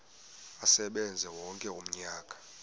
asebenze wonke umnyaka